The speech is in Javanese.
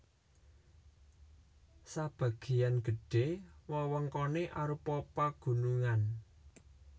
Sabagéyan gedhé wewengkoné arupa pagunungan